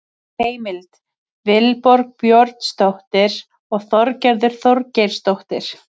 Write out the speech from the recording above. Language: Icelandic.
Heimild: Vilborg Björnsdóttir og Þorgerður Þorgeirsdóttir.